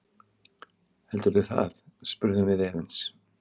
Heldurðu það, spurðum við efins.